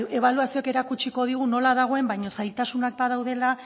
ebaluazioak erakutsiko digu nola dagoen baina zailtasunak badaudela